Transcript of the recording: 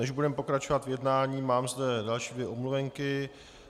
Než budeme pokračovat v jednání, mám zde další dvě omluvenky.